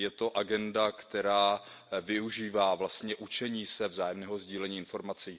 Je to agenda, která využívá vlastně učení se vzájemného sdílení informací.